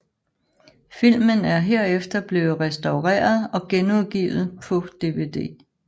Filmen er herefter blevet restaureret og genudgivt på DVD